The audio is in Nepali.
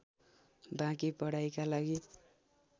बाँकी पढाइका लागि